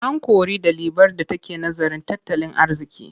An kori ɗalibar da take nazarin tattalin arziƙi.